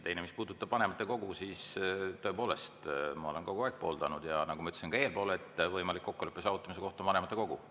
Teiseks, mis puudutab vanematekogu, siis ma olen tõepoolest kogu aeg seda pooldanud, ja nagu ma ütlesin ka eespool, võimalik kokkuleppe saavutamise koht on vanematekogu.